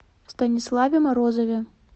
станиславе морозове